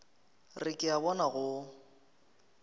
re ke a bona go